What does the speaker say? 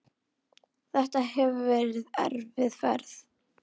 Þetta hefur verið erfið ferð.